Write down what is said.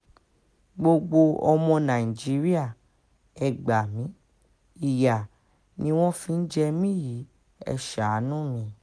gbogbo ọmọ nàìjíríà ẹ gbá mi ìyá ni wọ́n fi ń jẹ mí yìí ẹ̀ ṣàánú mi